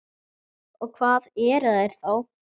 Og hvað eru þær þá?